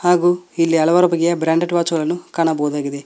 ಹಾಗು ಇಲ್ಲಿ ಹಲವಾರು ಬಗೆಯ ಬ್ರಾಂಡೆಡ್ ವಾಚುಗಳನ್ನು ಕಾಣಬಹುದಾಗಿದೆ.